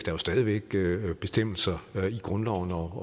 jo stadig væk bestemmelser i grundloven